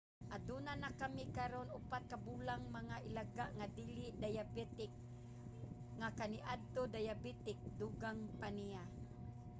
"aduna na kami karon 4 ka bulang mga ilaga nga dili dayabetik nga kaniadto dayabetik, dugang pa niya